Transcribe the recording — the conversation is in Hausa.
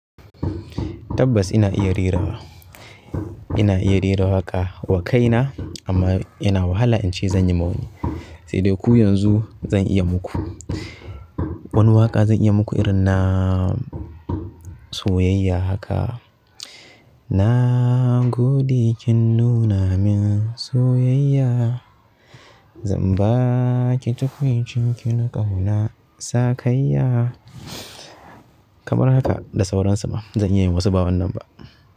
Tabbas ina iya rerawa, ina iya rera waƙa wa kaina amma ina wahala in ce zan yi ma wani. Sai dai ku yanzu zan iya muku. Wani waƙa zan iya muku irin na soyayya haka. Na gode kin nuna min soyayya, zan ba ki tukwuicin kin ƙauna, sakayya. Kamar haka, da sauran su ma zan iya yi masu ba wannan ba.